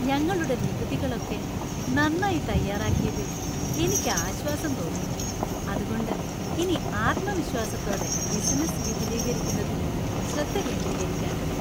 ഞങ്ങളുടെ നികുതികൾ ഒക്കെ നന്നായി തയ്യാറാക്കിയതിൽ എനിക്ക് ആശ്വാസം തോന്നുന്നു, അതുകൊണ്ട് ഇനി ആത്മവിശ്വാസത്തോടെ ബിസിനസ്സ് വിപുലീകരിക്കുന്നതിൽ ശ്രദ്ധ കേന്ദ്രീകരിക്കാൻ പറ്റും.